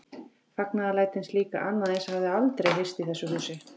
Fagnaðarlætin slík að annað eins hafði aldrei heyrst í þessu húsi.